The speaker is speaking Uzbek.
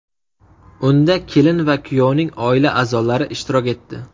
Unda kelin va kuyovning oila a’zolari ishtirok etdi.